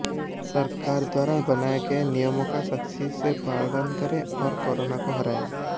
सरकार द्वारा बनाए गये नियमों का सख्ती से पालन करें और कोरोना को हराएं